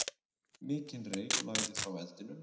Mikinn reyk lagði frá eldinum.